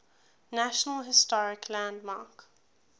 national historic landmark